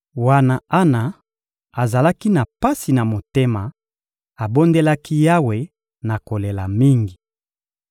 Wana Ana azalaki na pasi na motema, abondelaki Yawe na kolela mingi.